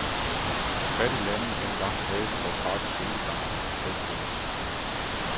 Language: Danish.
Hvor fattigt landet end var, havde det dog gratis skolegang og hospitalsvæsen.